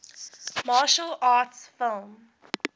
martial arts film